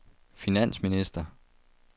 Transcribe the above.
finansminister